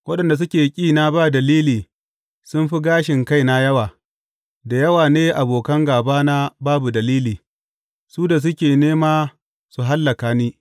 Waɗanda suke ƙina ba dalili sun fi gashin kaina yawa; da yawa ne abokan gābana babu dalili, su da suke nema su hallaka ni.